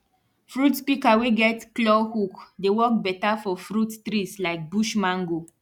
fruit pika wey get claw hook dey work beta for fruit trees like bush mango